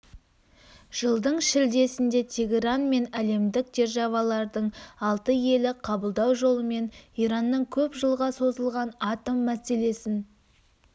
жылдың шілдесінде тегеран мен әлемдік державалардың алты елі қабылдау жолымен иранның көп жылға созылған атом мәселесін